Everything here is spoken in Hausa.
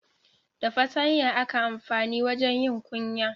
Da fatanya aka amfanin wajen yin kunya.